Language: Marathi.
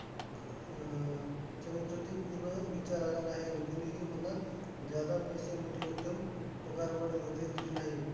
अह पूर्ण विचार आला नाही, आणि कोणीही मला पैसे मोठी रक्कम पगारवाढ वगैरे दिली नाही.